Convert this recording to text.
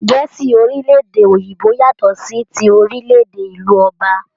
Gẹ̀ẹ́si orílè-èdè Òyìnbó yàtọ sí tí orílè-èdè ìlú Òbà.